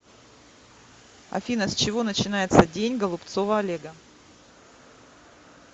афина с чего начинается день голубцова олега